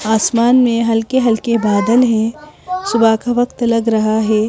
आसमान में हल्के-हल्के बादल हैं सुबह का वक्त लग रहा है.